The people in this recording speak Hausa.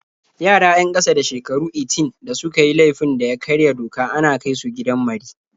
Yara 'yan ƙasa da shekaru 18 da suka yi laifin da ya karya doka ana kai su gidan mari.